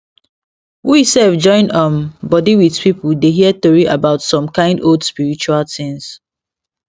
we sef join um body with people dey hear tori about some kind old spiritual things